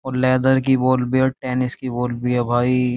और लेदर की बॉल भी है और टेनिस की बॉल भी है भाई।